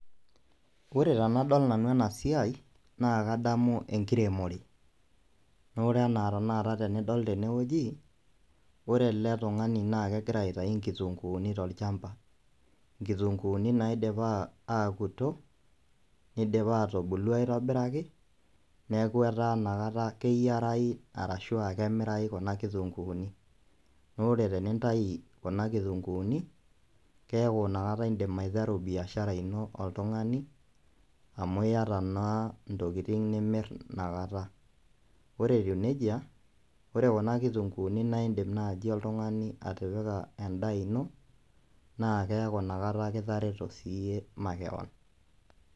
Ore tenadol nanu ena siaai naa kadamu enkiremore amu tenadol ele tung'ani naa kegira aitayu inkitunkuuni tolchamba inkitunkuuni naidipa aakuto neidipa neidipa aitubulu aitobiraki neeku etaa inakata keyiarau ashua kemirayu kuna kitunkuuni naa ore tenintayu kuna kitunkuuni keeku indim aiteru biashara ino amu keeku naa keeta entoki nimir ina kata ore etiu nejia ore kuna kitunkuuni naa indim naaji oltung'ani atipika endaa ino naa keeku inakata kitareo siiyie makewon.